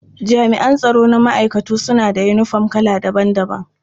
Jami'an tsaro na ma'aikatu suna da yinifom kala daban-daban.